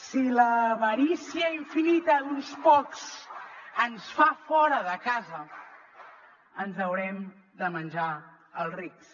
si l’avarícia infinita d’uns pocs ens fa fora de casa ens haurem de menjar els rics